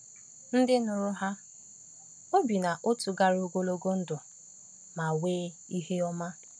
Ndị nụrụ ha obi n’otu gara ogologo ndụ ma nwee ihe ọma.